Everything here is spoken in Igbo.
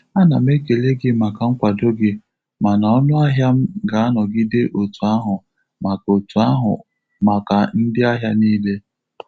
A na m ekele gi maka nkwado gị, mana ọnụahịa m ga-anọgide otu ahu maka otu ahu maka ndị ahịa niile.